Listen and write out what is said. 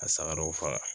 A saga dɔw faga